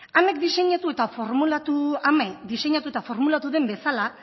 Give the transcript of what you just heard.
ame diseinatu eta formulatu den bezala